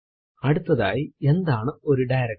അടുത്തതായി എന്താണ് ഒരു ഡയറക്ടറി